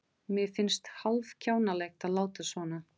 Mér finnst hálf-kjánalegt að láta svona.